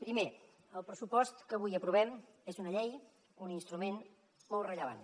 primer el pressupost que avui aprovem és una llei un instrument molt rellevant